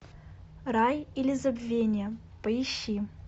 рай или забвение поищи